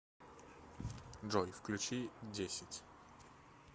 джой включи десять